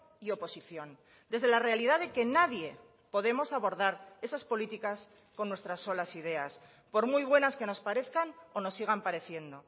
y oposición desde la realidad de que nadie podemos abordar esas políticas con nuestras solas ideas por muy buenas que nos parezcan o nos sigan pareciendo